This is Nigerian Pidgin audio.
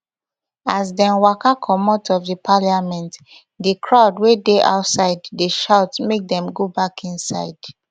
as dem waka comot of di parliament di crowd wey dey outside dey shout make dem go back inside